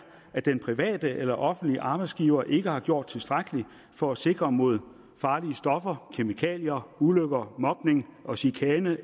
at den private eller offentlige arbejdsgiver ikke har gjort tilstrækkeligt for at sikre mod farlige stoffer kemikalier ulykker mobning og chikane